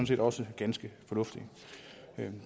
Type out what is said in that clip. set også ganske fornuftigt